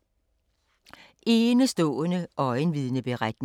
Enestående øjenvidneberetning